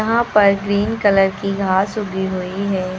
यहां पर green colour की घास उगी हुई है।